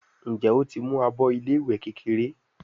Njé o ń mú àbọ ilé ìwé kékeré?